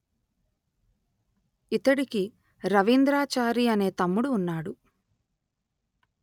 ఇతడికి రవీంద్రాచారి అనే తమ్ముడు ఉన్నాడు